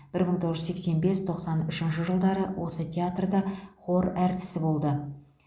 бір мың тоғыз жүз сексен бес тоқсан үшінші жылдары осы театрда хор әртісі болды